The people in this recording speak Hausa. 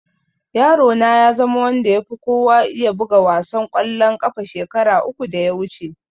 Yaro na ya zama wanda ya fi kowa iya buga wasan ƙwallon ƙafa shekara uku da ya wuce